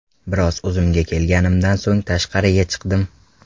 Biroz o‘zimga kelganimdan so‘ng tashqariga chiqdim.